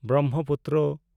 Brahmaputra